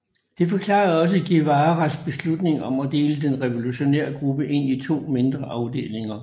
Det forklarede også Guevaras beslutning om at dele den revolutionære gruppe ind i to mindre afdelinger